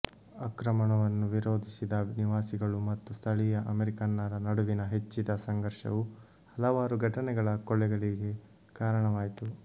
ಆಕ್ರಮಣವನ್ನು ವಿರೋಧಿಸಿದ ನಿವಾಸಿಗಳು ಮತ್ತು ಸ್ಥಳೀಯ ಅಮೆರಿಕನ್ನರ ನಡುವಿನ ಹೆಚ್ಚಿದ ಸಂಘರ್ಷವು ಹಲವಾರು ಘಟನೆಗಳ ಕೊಲೆಗಳಿಗೆ ಕಾರಣವಾಯಿತು